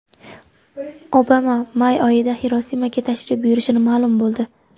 Obama may oyida Xirosimaga tashrif buyurishi ma’lum bo‘ldi.